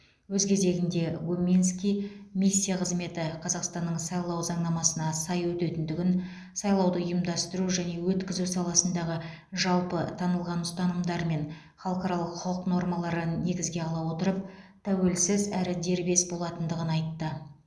өз кезегінде гуминский миссия қызметі қазақстанның сайлау заңнамасына сай өтетіндігін сайлауды ұйымдастыру және өткізу саласындағы жалпы танылған ұстанымдар мен халықаралық құқық нормаларын негізге ала отырып тәуелсіз әрі дербес болатындығын айтты